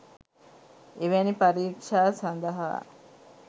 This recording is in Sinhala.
එවැනි පරීක්ෂා සඳහා